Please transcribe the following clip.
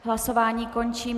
Hlasování končím.